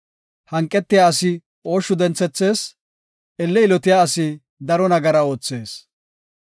Hanqetiya asi ooshshu denthethees; elle yilotiya asi daro nagara oothees.